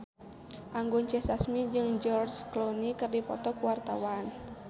Anggun C. Sasmi jeung George Clooney keur dipoto ku wartawan